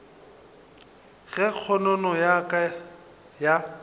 ge kgonono ya ka ya